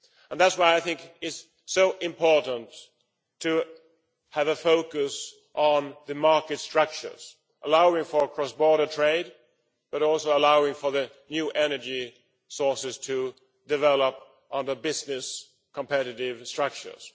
That is why I think it is so important to have a focus on the market structures, allowing for cross border trade, but also allowing for the new energy sources to develop under business competitiveness structures.